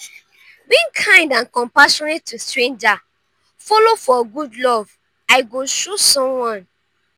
being kind and compassionate to stranger follow for good love i go show someone.